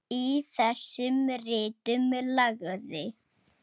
Í þessum ritum lagði